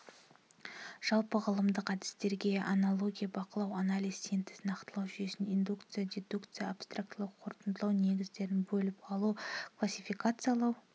жалпы ғылымдық әдістерге анология бақылау анализ синтез нақтылау жүйелеу индукция дедукция абстрактылау қорытындылау негізгісін бөліп алу классификациялау